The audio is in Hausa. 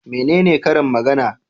Menene karin magana?